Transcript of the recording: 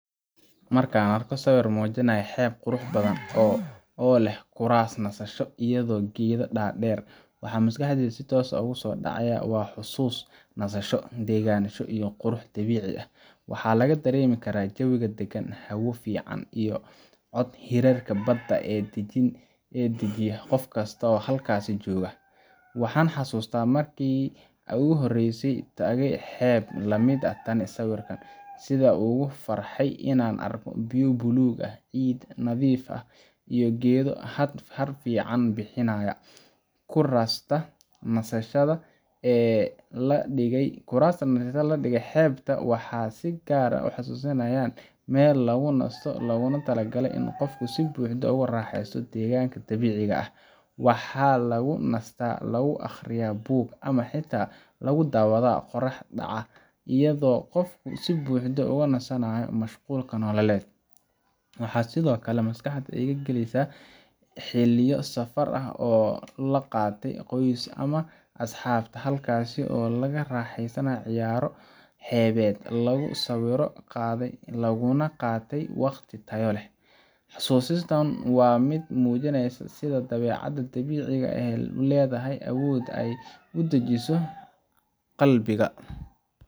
Markan arko sawir mujinaya xeb qurax badan oo leh kuras nasasho iyo geeda dar der waxaa maskaxdeyda sitos ah ogu so dacaya waa xusus nasasho degan iyo qurux dabici ah waxaa laga daremi karaa jawiga dagan iyo cod hireedka badka sitha an ogu farxe nasashada kurasta, waxaa lagu aqrista bug ama qoraxda aya laga farista, xususistan waa miid mujinaysa sitha dawecaada dabiciga ee ledahay iyo awod ee udajiso qalbiga.